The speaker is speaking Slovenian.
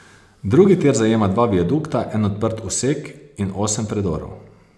Drugi tir zajema dva viadukta, en odprt usek in osem predorov.